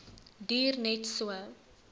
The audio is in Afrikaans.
duur net so